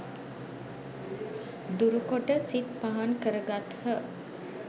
දුරු කොට සිත් පහන් කර ගත්හ.